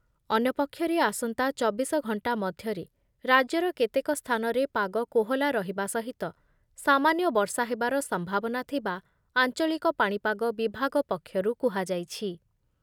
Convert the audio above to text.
ଅନ୍ୟପକ୍ଷରେ ଆସନ୍ତା ଚବିଶ ଘଣ୍ଟା ମଧ୍ୟରେ ରାଜ୍ୟର କେତେକ ସ୍ଥାନରେ ପାଗ କୋହଲା ରହିବା ସହିତ ସାମାନ୍ୟ ବର୍ଷା ହେବାର ସମ୍ଭାବନା ଥିବା ଆଞ୍ଚଳିକ ପାଣିପାଗ ବିଭାଗ ପକ୍ଷରୁ କୁହାଯାଇଛି ।